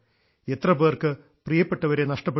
എത്ര പേർക്ക് പ്രിയപ്പെട്ടവരെ നഷ്ടപ്പെട്ടു